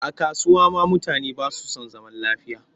A kasuwa ma mutane ba su san zaman lafiya